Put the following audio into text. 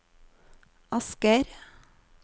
Asker